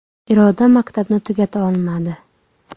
Iroda maktabni tugata olmadi.